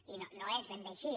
i no és ben bé així